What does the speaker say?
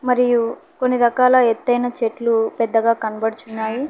మరియు కొన్ని రకాల ఎత్తైన చెట్లు పెద్దగా కనబడుచున్నాయి.